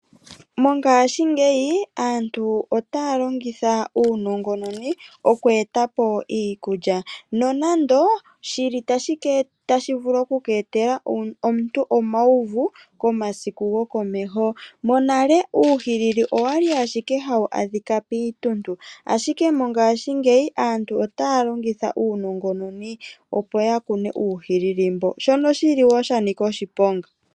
Mongaashingeyi aantu otaya longitha uunongononi okweetapo iikulya, nonando shili tashi vulu okweetela omuntu omauvu komasiku gokomeho. Monale uuhilili owa li ashike hawu adhika piituntu, ashike mongashingeyi aantu otaya longitha uunongononi opo ya kune uuhilili mbo, shono shili wo shanika oshiponga.